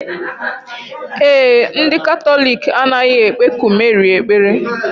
Ee e, ndị Katọlik anaghị ekpeku Meri ekpere.